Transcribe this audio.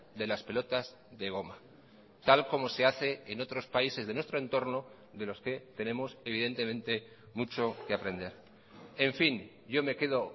de las pelotas de goma tal como se hace en otros países de nuestro entorno de los que tenemos evidentemente mucho que aprender en fin yo me quedo